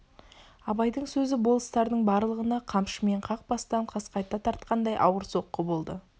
абайдың сөзі болыстардың барлығына қамшымен қақ бастан қасқайта тартқандай ауыр соққы болды